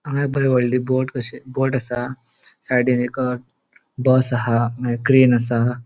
हांगा एक बरी होडली बोट कशी बोट असा साइडीन एक बस हा मगिर क्रैन असा.